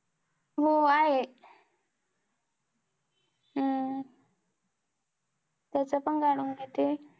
हो आहे हम्म तेच पण कडून घेते